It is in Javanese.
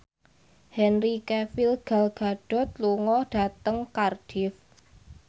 Henry Cavill Gal Gadot lunga dhateng Cardiff